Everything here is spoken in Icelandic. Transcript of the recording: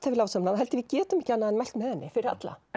við lásum hana þá held ég við getum ekki annað en mælt með henni fyrir alla